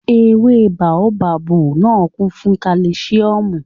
Ewé báóbábù náà kún fún kálísíọ̀mù